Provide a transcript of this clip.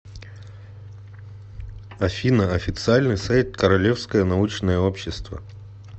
афина официальный сайт королевское научное общество